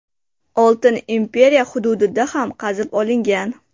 Oltin imperiya hududida ham qazib olingan.